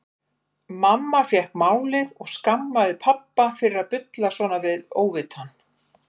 Mamma fékk málið og skammaði pabba fyrir að bulla svona við óvitann.